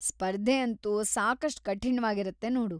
ಸ್ಪರ್ಧೆ ಅಂತೂ ಸಾಕಷ್ಟ್ ಕಠಿಣ್ವಾಗಿರುತ್ತೆ ನೋಡು.